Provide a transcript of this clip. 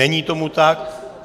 Není tomu tak.